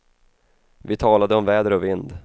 Vi talade om väder och vind.